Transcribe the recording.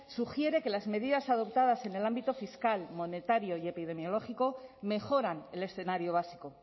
sugiere que las medidas adoptadas en el ámbito fiscal monetario y epidemiológico mejoran el escenario básico